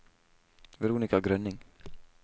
Veronika Grønning